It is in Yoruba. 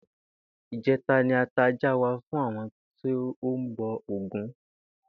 Ìjé̩ta ni a ta ajá wa fún àwo̩n tó ń bo̩ Ògún